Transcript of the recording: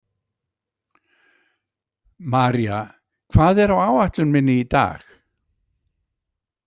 María, hvað er á áætlun minni í dag?